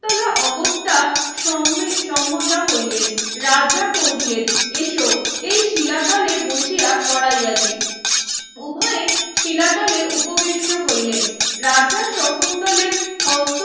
শকুন্তলা অগত্যা সম ~সমতা হইলেন রাজা কহিলেন এস এই শিলাতলে বসিয়া পোড়াইয়া দেই উভয়ে শিলাতলে উপবিষ্ট হইলেন রাজা শকুন্তলের হস্ত